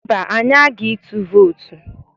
Mba, anyị aga ịtụ vootu.